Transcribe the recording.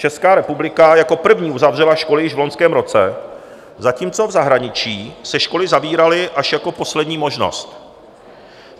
Česká republika jako první uzavřela školy již v loňském roce, zatímco v zahraničí se školy zavíraly až jako poslední možnost.